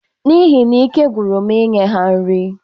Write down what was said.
N'ihi na ike gwụrụ m inye ha nri